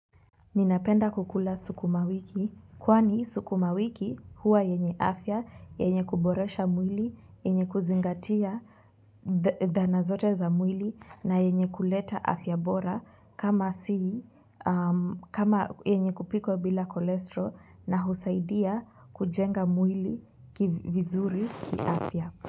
Ninapenda kukula sukumawiki kwani suku mawiki huwa yenye afya, yenye kuboresha mwili, yenye kuzingatia dhana zote za mwili na yenye kuleta afya bora kama si, kama yenye kupikwa bila kolestro na husaidia kujenga mwili vizuri kiafya.